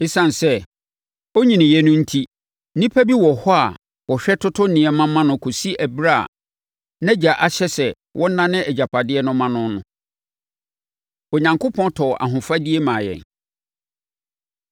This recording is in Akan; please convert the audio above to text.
Esiane sɛ ɔnnyiniiɛ no enti, nnipa bi wɔ hɔ a wɔhwɛ toto nneɛma ma no kɔsi ɛberɛ a nʼagya ahyɛ sɛ wɔnnane agyapadeɛ no mma no no. Onyankopɔn Tɔɔ Ahofadie Maa Yɛn